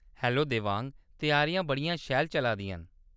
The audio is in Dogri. हैलो देवांग ! त्यारियां बड़ियां शैल चला दियां।